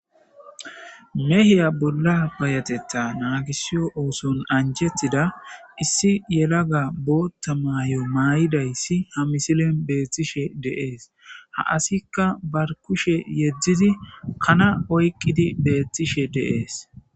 Mehiya bolla bayatetta naagisiyo ooson anjettida issi yelaga bootta maayo maayidayssi ha misilen beettishe deees ha asikka bar kushe yeddidi kana oyqqidi beettishe deees